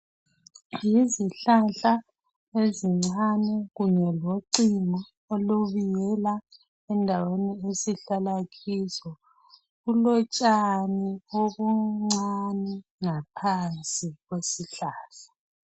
Yizihlahla ezincane kunye locingo olubiyela endaweni esihlala kizo kulotshani obuncane ngaphansi kwesihlahla.